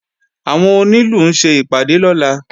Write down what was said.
Àwọn onílù ń ṣe ìpàdé lọ́la